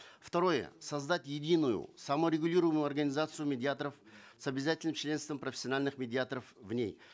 второе создать единую саморегулируемую организацию медиаторов с обязательным членством профессиональных медиаторов в ней